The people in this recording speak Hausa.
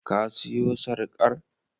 Ka siyo sarƙar?